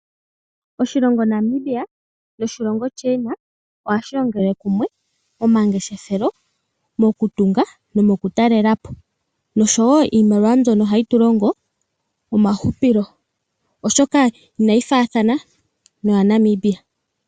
Oshilongo Namibia noshilongo China ohashi longele kumwe omangeshefelo mokutunga nomokutalela po nosho wo iimaliwa mbyono ohayi tu longo omahupilo, oshoka inayi faathana noyaNamibia.